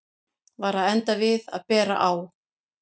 Var að enda við að bera á